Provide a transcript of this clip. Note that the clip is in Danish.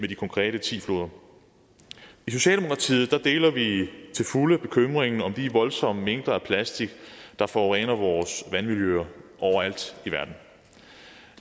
de konkrete ti floder i socialdemokratiet deler vi til fulde bekymringen om de voldsomme mængder af plastik der forurener vores vandmiljøer overalt i verden